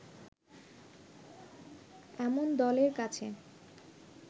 এমন দলের কাছে